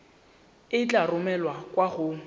e tla romelwa kwa go